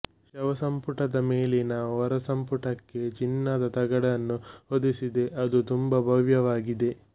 ಶವಸಂಪುಟದ ಮೇಲಿನ ಹೊರಸಂಪುಟಕ್ಕೆ ಚಿನ್ನದ ತಗಡನ್ನು ಹೊದೆಸಿದೆ ಅದು ತುಂಬ ಭವ್ಯವಾಗಿದೆ